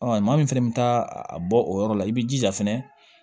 Ɔ maa min fɛnɛ bɛ taa a bɔ o yɔrɔ la i bɛ jija fɛnɛ